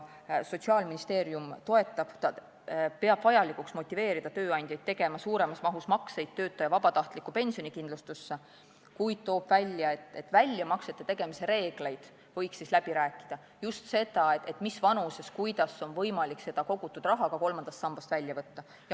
Sotsiaalministeerium toetab, ta peab vajalikuks motiveerida tööandjaid tegema suuremas mahus makseid töötaja vabatahtlikku pensionikindlustusse, kuid toob välja, et väljamaksete tegemise reeglite üle võiks läbi rääkida, pidades silmas just seda, mis vanuses ja kuidas on võimalik seda kogutud raha kolmandast sambast välja võtta.